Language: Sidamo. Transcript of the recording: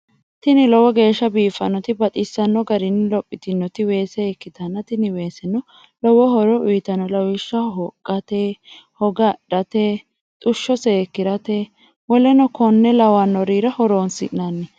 Tini lowo geeshsa biiffannotina baxissanno garinni lophitinnoti weese ikkitanna tini weeseno lowo horo uyitanno lawishshaho hoqqate, hoga adhate, xushsho seekkirate woleno konne lawannorira horonsi'nanni.